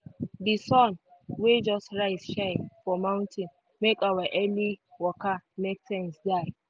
di sun wey just rise shine for mountain make our early waka make sense die.